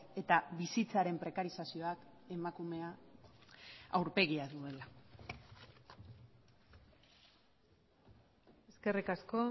eta bizitzaren prekarizazioak emakumea aurpegia duela eskerrik asko